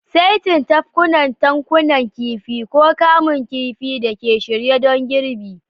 saitin tafkuna, tankunan kifi, ko kamun kifi da ke shirye don girbi.